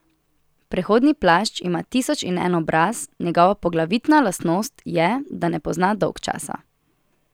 Prehodni plašč ima tisoč in en obraz, njegova poglavitna lastnost je, da ne pozna dolgčasa.